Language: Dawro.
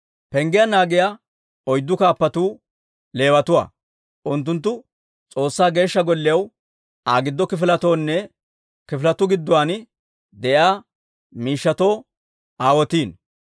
Penggiyaa naagiyaa oyddu kaappatuu Leewatuwaa; unttunttu S'oossaa Geeshsha Golliyaw, Aa giddo kifiletoonne kifiletuu gidduwaan de'iyaa miishshatoo aawotiino.